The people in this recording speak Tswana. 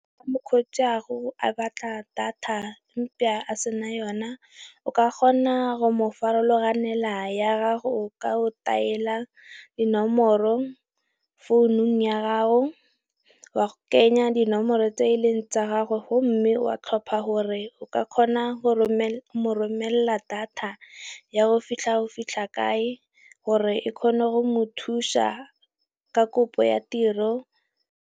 Mokgotsi wa gago a batla data empa a sena yona, o ka kgona go mo farologanela ya gago ka o daela dinomoro founung ya gago, wa kenya dinomoro tse eleng tsa gagwe gomme wa tlhopha gore o ka kgona go romela data ya go fitlha go fitlha kae gore e kgone go mothusa ka kopo ya tiro.